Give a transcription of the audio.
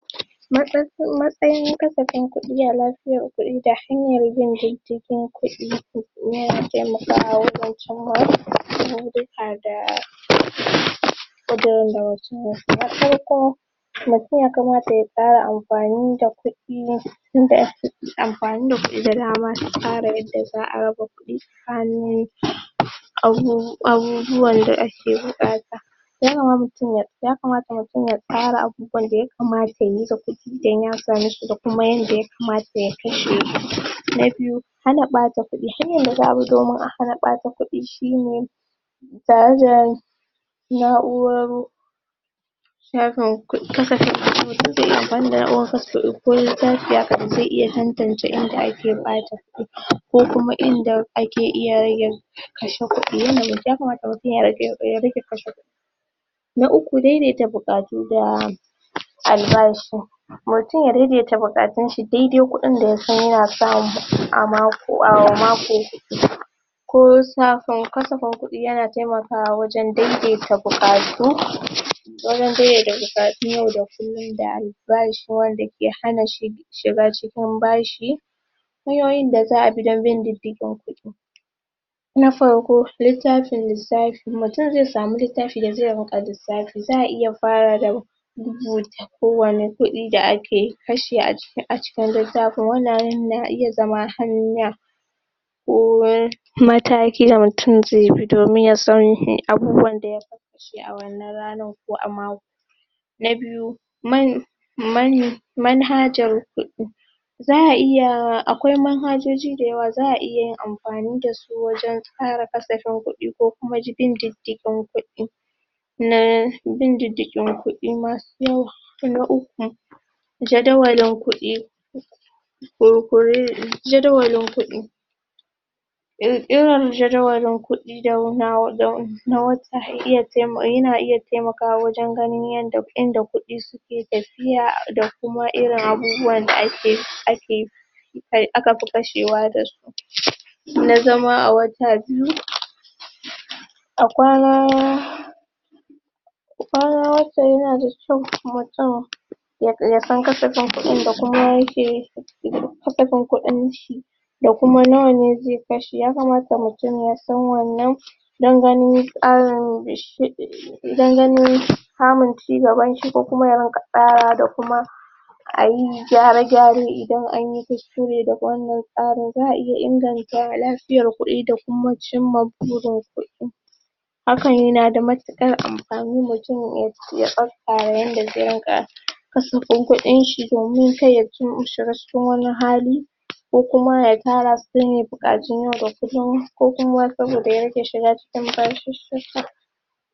Matsayin katsafin ƙudi a lafiyar ƙudi, shine ze janyo jikin ƙudi yana taimakawa yawancin mata duka da na farko ya kamata ya fara amfani da ƙudi inda ƙudi, amfani da ƙudi da dama yanda za'a fara raba ƙudi hannu abubuwan da ake buƙata yakamata mutum ya ƙara abubuwan da ya kamata yayi da ƙudi idan ya same su da kuma yanda ya kamata ya kashe su, na biyu hana ɓata, abubuwan da za'ayi domin hana ɓata ƙudi shine jayejayen na'uroru mutum ze iya amfani da ze iya kaskance inda ake ɓata ko kuma inda ake iya rage su kashe ƙudi, yanayi, ya kamata mutum ya rage kashe kudi na uku daidaita buƙatu da albashi mutum ya daidaita buƙatun shi daidai ƙudi da ya san yana samu a mako ko kasafin ƙudi yana taimakawa wajan daidaita buƙatu wajan daidaita buƙatu na yau da kullum da albashi wanda ke hanna shiga cikin bashi hanyoyin da za'a bi don bin didigin ƙudi na farko, littafin lissafi, mutum ze samu littafi da ze rika lissafi, za'a iya farawa da ko wannan ƙudin da ake kashe a cikin littafin, wannan na iya zama na harna um mataki da mutum ze bi domin yasan irin abubuwan da ya kashe a wannan ranan ko a mako na biyu manhajar ƙudi za'a iya, akwai manhajoji dayawa za'ayi amfani da su wajan ƙara kasafin ƙudi, ko wajan bin didigin ƙudi na bin didigin ƙudi masu, na uƙu jadawalin ƙudi jadawlin ƙudi irin jadawalin ƙudi dama wata hanyar, yana iya taimakawa wajan inda ƙudi suke tafiya da kuma irin abubuwan da akeyi akafi kashewa da su na zama a wajajen a kwana don haka yanada kyau mutum yasan kasafin ƙudi da kuma yakeyi da kuma kasafin ƙudin shi da kuma nawane ze kashe ya kamata mutum ya san wannan da ganin dan ganin samun cigaban shi ko kuma ya rika ƙarawa da kuma ayi gyara-gyare idan anyi kuskure, da wannan fanin za'a iya inganta lafiyar ƙudi da kuma cimma burin ƙudi hakan yanada mutukar amfani mutum ya tsatsara yanda ze dinka kasafin ƙudin shi domin karya mutum ya shiga cikin wani hali kokuma ya tarasu don ya buƙaci na yau da kullum ko kuma ya rage shiga cikin bashishi.